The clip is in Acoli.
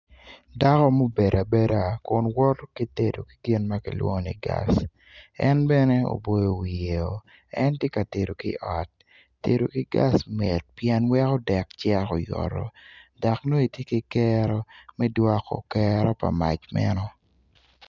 Dako mubedo abeda ma woto ki tedo ki gin ma kilwongo ni gas en bene oboyo wiyo en tye ka tedo i ot tedo ki gas mit pien weko dek cenk oyoto dok nongo itye ki kero me dwoko kero pa mac meno.